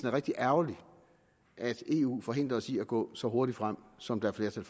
er rigtig ærgerligt at eu forhindrer os i at gå så hurtigt frem som der er flertal